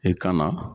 E ka na